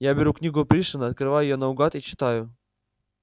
я беру книгу пришвина открываю её наугад и читаю